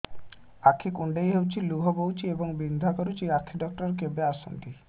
ଆଖି କୁଣ୍ଡେଇ ହେଉଛି ଲୁହ ବହୁଛି ଏବଂ ବିନ୍ଧା କରୁଛି ଆଖି ଡକ୍ଟର କେବେ ଆସନ୍ତି